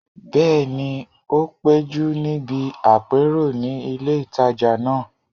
Bẹ́ẹ̀ni, o péjú níbi àpérò ní ilé ìtajà náà